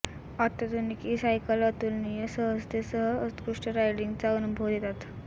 अत्याधुनिक e cycle अतुलनीय सहजतेसह उत्कृष्ट रायडिंगचा अनुभव देतात